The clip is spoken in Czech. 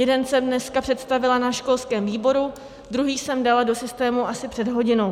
Jeden jsem dneska představila na školském výboru, druhý jsem dala do systému asi před hodinou.